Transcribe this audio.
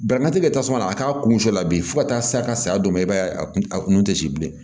Baramatigi bɛ tasuma na a k'a kun cɛ la bi fo ka taa se a ka saya dɔ ma i b'a ye a kun a kun te si bilen